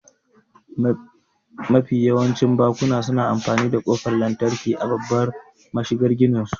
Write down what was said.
Mafi yawancin bakuna suna amfani da ƙofar lantarki a babbar mashigar gininsu.